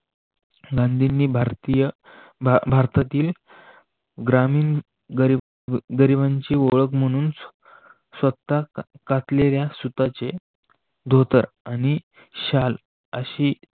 भारतीय भारतातील ग्रामीण गरिबांची ओळख म्हणून स्वतः कातलेल्या सूताचे धोतर आणि शाल अशी